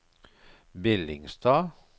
Billingstad